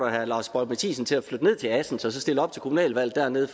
herre lars boje mathiesen til at flytte ned til assens og så stille op til kommunalvalget dernede